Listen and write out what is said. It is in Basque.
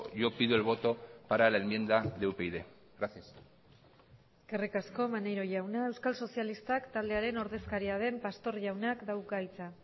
yo pido el voto para la enmienda de upyd gracias eskerrik asko maneiro jauna euskal sozialistak taldearen ordezkaria den pastor jaunak dauka hitza